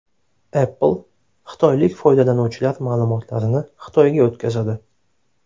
Apple xitoylik foydalanuvchilar ma’lumotlarini Xitoyga o‘tkazadi.